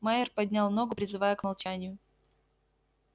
майер поднял ногу призывая к молчанию